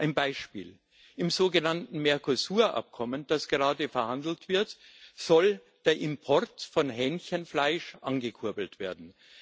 Ein Beispiel Im sogenannten Mercosur Abkommen, das gerade verhandelt wird, soll der Import von Hähnchenfleisch angekurbelt werden.